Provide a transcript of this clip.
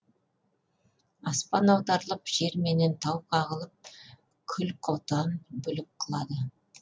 аспан аударылып жер менен тау қағынып күл құтан бүлік қылады